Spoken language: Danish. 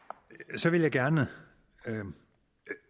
så vil jeg gerne